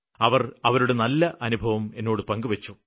അവര് അവരുടെ ഒരു നല്ല അനുഭവം പങ്കുവെച്ചു